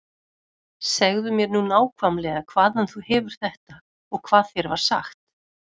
Segðu mér nú nákvæmlega hvaðan þú hefur þetta og hvað þér var sagt.